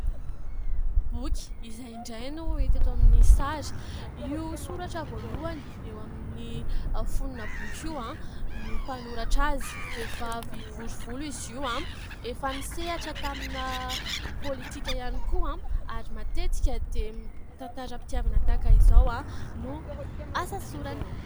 Boky, izay indray no hita eto amin'ny sary. Io soratra voalohany eo amin'ny fonin'ny boky io no mpanoratra azy. Vehivavy bory volo izy io ary efa nisehatra tamina politika ihany koa. Ary matetika dia tantaram-pitiavana tahaka izao no asa sorany.